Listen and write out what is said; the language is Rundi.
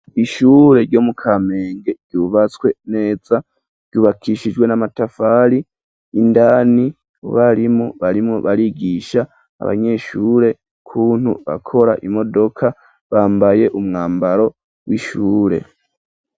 Ishure ryo mu Kamenge ryubatswe neza ryubakishijwe n'amatafari indani abarimu barimwo barigisha abanyeshure ukuntu bakora imodoka bambaye umwambaro w'ishure.